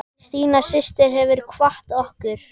Stína systir hefur kvatt okkur.